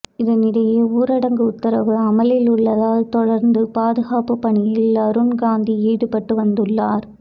இதனிடையே ஊரடங்கு உத்தரவு அமலில் உள்ளதால் தொடர்ந்து பாதுகாப்பு பணியில் அருண்காந்தி ஈடுபட்டு வந்துள்ளார்